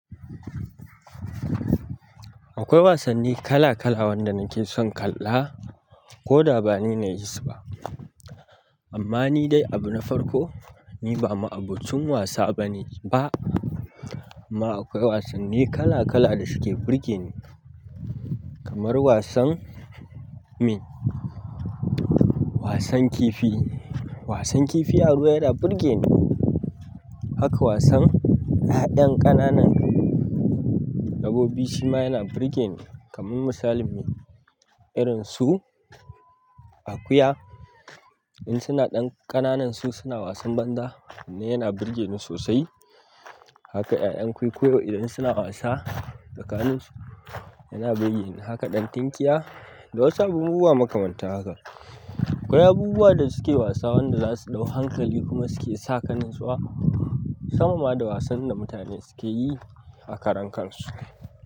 Akwai wasanni kala kala wanda nake son kalla ko da ba ni na yi su ba. Amma ni dai abu na farko, ni ba ma'abocin wasa bane ba. Amma akwai wasanni kala kala da suke burge ni. Kamar wasan, mean, wasan kifi. Wasan kifi a ruwa yana burge ni. Haka wasan 'ya'yan ƙananan dabbobi shima yana burge ni. Kamar misali mean, irin su akuya in suna ɗan ƙananan su suna wasan banza, na yana burge ni sosai. Haka 'ya'yan kwuikwuyo idan suna wasa tsakaninsu yana burge ni. Haka ɗan tinkiya da wasu abubuwa muka manta haka. Akwai abubuwa da suke wasa wanda za su ɗau hankali kuma suke saka natsuwa, sama ma da wasan da mutane suke yi a karan kansu.